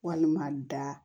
Walima da